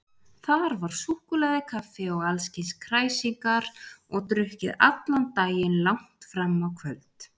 Þar var súkkulaði, kaffi og allskyns kræsingar og drukkið allan daginn langt fram á kvöld.